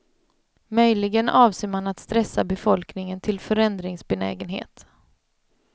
Möjligen avser man att stressa befolkningen till förändringsbenägenhet.